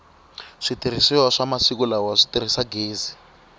switirhisiwa swa masiku lala si tirhisa gezi